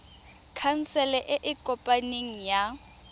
khansele e e kopaneng ya